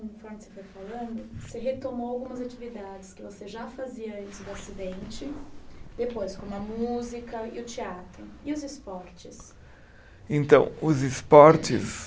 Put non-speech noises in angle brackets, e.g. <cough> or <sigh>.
<unintelligible> Você está falando. Você retomou algumas atividades que você já fazia antes do acidente, depois, como a música e o teatro. E os esportes? Então, os esportes